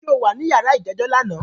Ǹjẹ́ o wà ní yàrá ìjẹ́jọ́ lánàá?